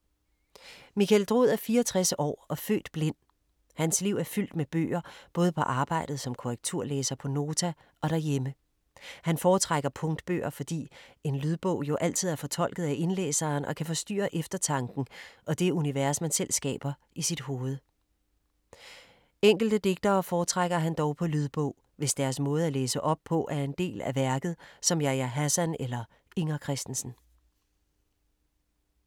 Michael Drud er 64 år og født blind. Hans liv er fyldt med bøger, både på arbejdet som korrekturlæser på Nota og derhjemme. Han foretrækker punktbøger, fordi en lydbog jo altid er fortolket af indlæseren og kan forstyrre eftertanken og det univers, man selv skaber i sit eget hoved. Enkelte digtere foretrækker han dog på lydbog, hvis deres måde at læse op på er en del af værket, som Yahya Hassan eller Inger Christensen.